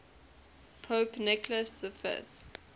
pope nicholas v